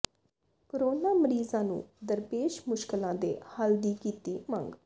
corona ਮਰੀਜ਼ਾਂ ਨੂੰ ਦਰਪੇਸ਼ ਮੁਸ਼ਕਲਾਂ ਦੇ ਹੱਲ ਦੀ ਕੀਤੀ ਮੰਗ